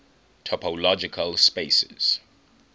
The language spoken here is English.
topological spaces